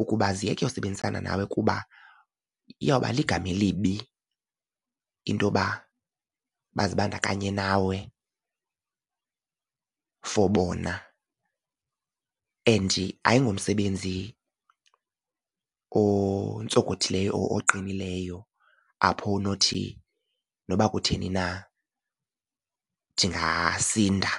ukuba ziyeke usebenzisana nawe kuba iyawuba ligama elibi into yoba bazibandakanye nawe for bona. And ayingomsebenzi ontsokothileyo oqinileyo apho onothi noba kutheni na ndingasinda.